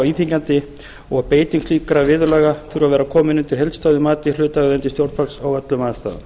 íþyngjandi og að beiting slíkra viðurlaga þurfi að vera komin undir heildstæðu mati hlutaðeigandi stjórnvalds á öllum aðstæðum